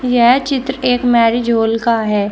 यह चित्र एक मैरिज हॉल का है।